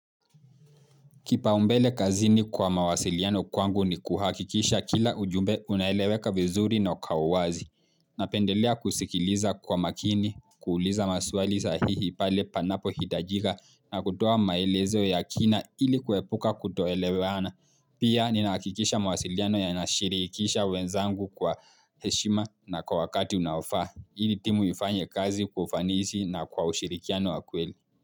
Kipau mbele kazini kwa mawasiliano kwangu ni kuhakikisha kila ujumbe unaeleweka vizuri na kwa uwazi. Napendelea kusikiliza kwa makini, kuuliza maswali sahihi pale panapo hitajika na kutoa maelezo ya kina ili kuepuka kutoeleweana. Pia ninahakikisha mawasiliano yanashirihikisha wenzangu kwa heshima na kwa wakati unaofaa. Ili timu ifanye kazi kwa ufanisi na kwa ushirikiano wa kweli.